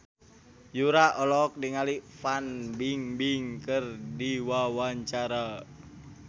Yura olohok ningali Fan Bingbing keur diwawancara